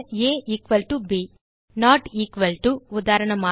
ah b not equal to உதாரணமாக